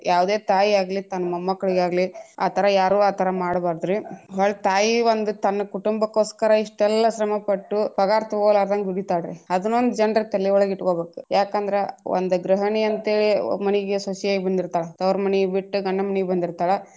ಯಾವ್ದೆ ತಾಯಿಯಾಗಲಿ ತನ್ನ ಮೊಮ್ಮಕಳಿಗಾಗ್ಲಿ ಆತರ ಯಾರು ಆತರ ಮಾಡ್ಬಾರ್ದ್ರಿ. ಬಾಳ ತಾಯಿ ಒಂದ ತನ್ನ ಕುಟುಂಬಕ್ಕೋಸ್ಕರ ಇಷ್ಟೆಲ್ಲಾ ಶ್ರಮ ಪಟ್ಟು ಪಗಾರ ತೊಗೋಲಾರದಂಗ ದುಡಿತಳಾರಿ ಅದನ್ನೊಂದ ಜನರ ತಲಿಯೊಳಗ ಇಟ್ಕೊಬೇಕು ಯಾಕಂದ್ರ ಒಂದ ಗೃಹಣಿ ಅಂತೇಳಿ ಮನಿಗೆ ಸೊಸಿಯಾಗಿ ಬಂದಿರ್ತಾಳ ತವರಮನಿ ಬಿಟ್ಟ ಗಂಡನ ಮನಿಗೆ ಬಂದಿರ್ತಾಳ.